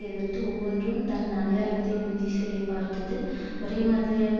எதிர்த்து ஒவ்வொன்றும் தன் அடையாளத்தை உறுதி செய்ய பார்த்தது ஒரேமாதிரியாக